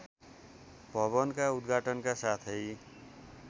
भवनका उदघाटनका साथै